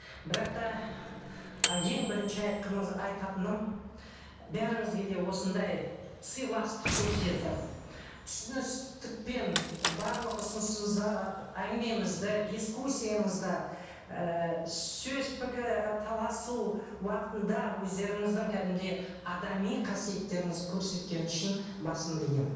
бірақ та ы ең бірінші айтқымыз айтатыным бәріңізге де осындай сыйластық көрсетіп түсіністікпен барлық ұсынысымызды әңгімемізді дискуссиямызды і сөз таласу уақытында өздеріңіздің кәдімгідей адами қасиеттеріңізді көрсеткен үшін басымды иемін